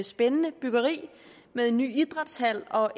spændende byggeri med en ny idrætshal og